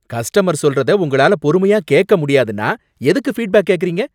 Customer சொல்றத உங்களால பொறுமையா கேக்க முடியாதுன்னா எதுக்கு ஃபீட்பேக் கேக்கிறீங்க?